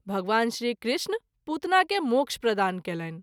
भगवान श्री कृष्ण पुतना के मोक्ष प्रदान कएलनि।